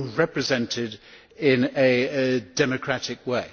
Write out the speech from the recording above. represented in a democratic way.